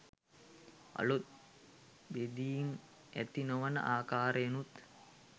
අලුත් බෙදීම් ඇති නොවන ආකාරයෙනුත්